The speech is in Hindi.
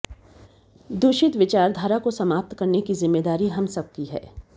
दूषित विचारधारा को समाप्त करने की जिम्मेदारी हम सब की है